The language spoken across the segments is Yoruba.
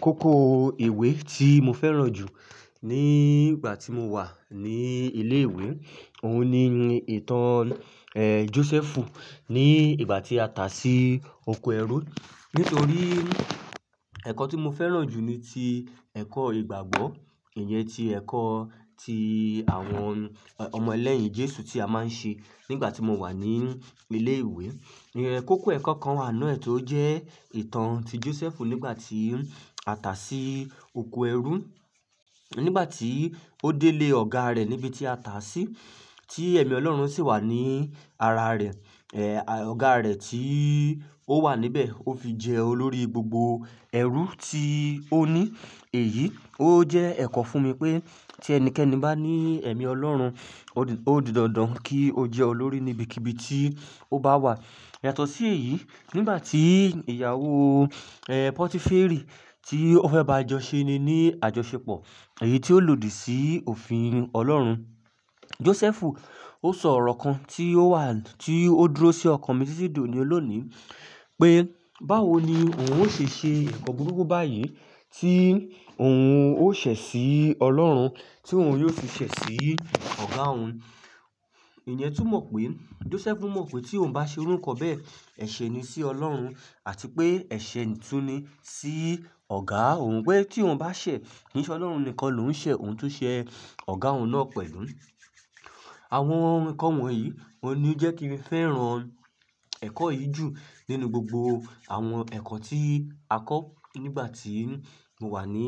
Kókó ìwé tí mo fẹ́ràn jù ní ìgbà tí mo wà ní ilé ìwé, òun ni ìtàn, Jósẹ́fù ní ìgbà tí a tà sí oko ẹrú. Nítorí ẹ̀kọ́ tí mo fẹ́ràn jù ni ti ẹ̀kọ́ ìgbàgbọ́, ìyẹn ti ẹ̀kọ́ ti àwọn ọmọ ẹlẹ́yìn Jésù tí a máa ń ṣe nígbà tí mo wà ní ilé ìwé. Iyẹ́n kókó ẹ̀kọ́ kan wà n nu e tó jẹ́ ìtàn ti Jósẹ́fù nígbà tí a tà sí oko ẹrú, nígbà tí ó délé ọ̀gá rẹ̀ níbi tí a tà sí, tí ẹ̀mí Ọlọ́run sì wà ní ara rẹ̀. Ọ̀gá rẹ̀ tí ó wà níbẹ̀, ó fi jẹ olórí gbogbo ẹrú tí ó ní. Èyí ó jẹ́ ẹ̀kọ́ fún mi pé tí ẹnikẹ́ni bá ní ẹ̀mí Ọlọ́run, ó di dandan kí ó jẹ́ olórí níbikibi tí ó bá wà. Yàtọ̀ sí èyí, nígbà tí ìyàwó, Pọtíférì tí ó fẹ́ bá ajọṣe ni ní àjọṣepọ̀, èyí tí ó lòdì sí òfin Ọlọ́run, Jósẹ́fù ó sọ ọ̀rọ̀ kan tí ó wà, tí ó dúró sí ọkàn mi títí dóni olónìí pé báwo ni òun ó ṣe ṣe nnkan n buruku tí òun ó ṣẹ̀ sí Ọlọ́run tí òun yóò fi ṣẹ̀ sí ọ̀gá òun. Ìyẹn túmọ̀ pé Jósẹ́fù mọ̀ pé tí òun bá ṣe irú nnkan bẹ́ẹ̀, ẹ̀ṣe ni sí Ọlọ́run àti pé ẹ̀ṣe tún ni sí ọ̀gá òun pé tí òun bá ṣẹ̀, kii Ọlọ́run nìkan ló ń ṣẹ̀ òun tún ṣe ọ̀gá òun náà pẹ̀lú. Àwọn ǹnkan wọ̀nyí ni ó ń jẹ́ kí n fẹ́ràn ẹ̀kọ́ yìí jù nínú gbogbo àwọn ẹ̀kọ́ tí a kọ́ nígbà tí mo wà ní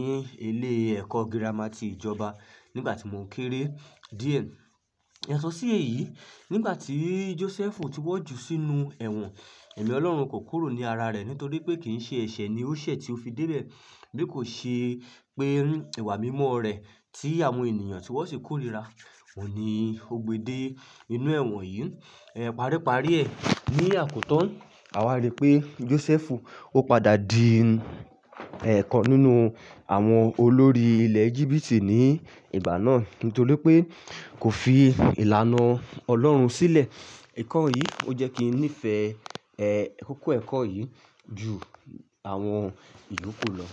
ilé ẹ̀kọ́ gírámà ti ìjọba nígbà tí mò kéré díẹ̀. Yàtọ̀ sí èyí, nígbà tí Jósẹ́fù ti wọ́n jù sínú ẹ̀wọ̀n, ẹ̀mí Ọlọ́run kò kúrò ní ara rẹ̀ nítorí pé kì í ṣe ẹ̀ṣẹ̀ ni ó ṣẹ̀ tí ó fi dé bẹ̀. Bí kò ṣe pé ìwà mímọ́ rẹ̀ tí àwọn ènìyàn ti wọ́n sì kórìíra òhun ní ó gbe de inú ẹ̀wọ̀n yìí. Paríparí ẹ́ ní àkótan, àwa rí pé Jósẹ́fù ó padà di ẹ̀yokan nínú àwọn olórí ilẹ̀ Éjíbítì ní ìgbà náà nítorí pé kò fi ìlànà Ọlọ́run sílẹ̀. Nnkan yìí ó jẹ́ kí n nífẹ̀ẹ́, kikó ẹ̀kọ́ yìí ju àwọn ìyóku lọ.